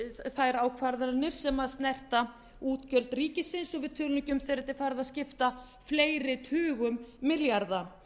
þær ákvarðanir sem snerta útgjöld ríkisins og við tölum ekki um þegar þetta er farið að skipta fleiri tugum milljarða